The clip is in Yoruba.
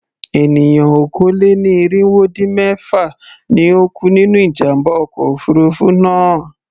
Ènìyàn okòó-lé-ní-irínwó-dín-mẹ́fà ni ó kú nínú ìjàm̀bá ọkọ̀ òfurufú náà.